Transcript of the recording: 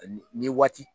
Ni waati